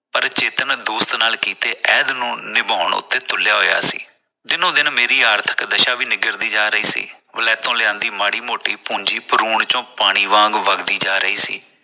ਚੇਤਨ ਦੋਸਤ ਨਾਲ ਕੀਤੇ ਨੂੰ ਨਿਭਾਉਣ ਉਤੇ ਤੁਰਿਆ ਹੋਇਆ ਸੀ । ਦਿਨੋ ਦਿਨ ਮੇਰੀ ਆਰਥਿਕ ਦਸ਼ਾ ਵੀ ਨਿਘਰਦੀ ਜਾ ਰਹੀ ਸੀ ਵਲੈਤਾਂ ਲਿਆਦੀ ਮਾੜੀ ਮੋਟੀ ਪੂੰਜੀ ਭਰੁਣ ਵਿਚੋ ਪਾਣੀ ਵਾਂਗ ਵਗਦੀ ਜਾ ਰਹੀ ਸੀ।